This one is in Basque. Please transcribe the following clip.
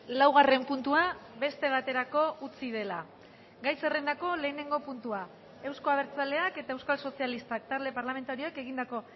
laugarren puntua beste baterako utzi dela gai zerrendako lehenengo puntua euzko abertzaleak eta euskal sozialistak talde parlamentarioek egindako